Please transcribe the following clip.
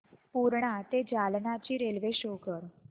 पूर्णा ते जालना ची railway show कर